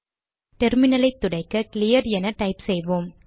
டெர்மினலை துடைக்க கிளியர் என டைப் செய்வோம்